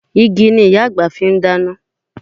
Igi ni Ìyá àgbà fi ń dáná